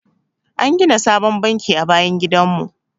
An gina sabon banki a bayan gidan mu.